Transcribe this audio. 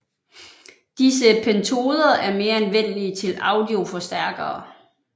Disse pentoder er mere anvendelige til audioforstærkere